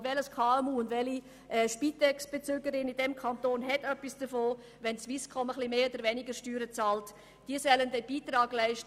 Und welches KMU und welche Spitex-Bezügerin oder welcher Spitex-Bezüger in diesem Kanton hat etwas davon, wenn die Swisscom etwas mehr oder weniger Steuern bezahlt?